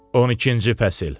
12-ci fəsil.